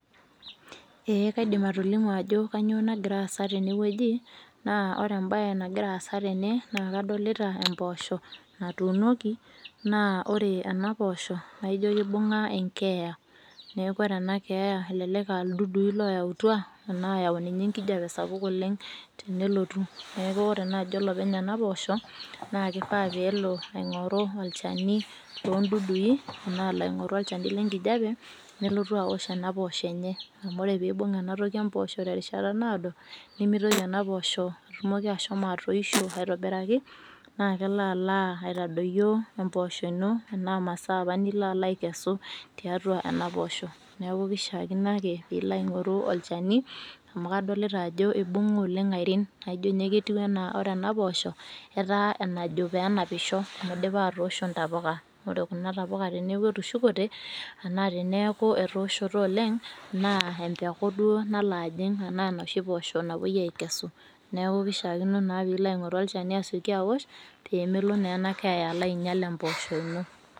Eeeh kaidim atolimu ajo kanyioo nagira aasa tene wueji aa kadolita impoosho natuunoki naa ore ena poosho naijio kibung'a keeya neeku ore ena keeya elelek aa ildudui looyautua enaa eyau ninye enkijiape sapuk oleng tenelotu neeku ore naaaji olopeny ena poosho naa keifaa peelo aing'oru olchani loondudui enaa olchani lenkijiape nelotu aowosh ena poosho enye amu ore peeibung ena toki emposho terishata naado nemeitoki ena poosho ashomo atoishio aitobiraki naa kelo alo aitadoyio emposho inl emaa imasaaa apa nilo alo aikesu tiatua ena poosho neeku keishiakino ake peeilo aing'oru olchani amu kadolita ajo eibung'a oleng airin naajio kadolita ajo ore ena poosho etaa eenajo peenapisho amu eidipa atoosho intapuka ore kuna tapuka teneeku estushukote enaa teneeku etooshote oleng naa empuku duo nalo ajing enaa enoshi poosho napuoi aikesu neeku peilo aing'oru olchani awosh peemelo ena keeya ajing impoosho ino.